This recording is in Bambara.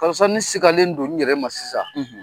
Karisa ne sigalen don n yɛrɛ ma sisan